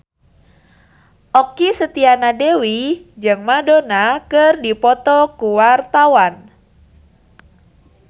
Okky Setiana Dewi jeung Madonna keur dipoto ku wartawan